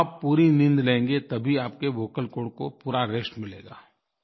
आप पूरी नींद लेंगे तभी आपके वोकल कॉर्ड को पूरा रेस्ट मिलेगा